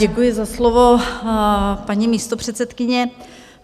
Děkuji za slovo, paní místopředsedkyně.